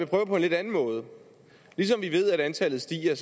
prøve på en lidt anden måde ligesom vi ved at antallet stiger